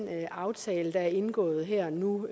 aftale der er indgået her og nu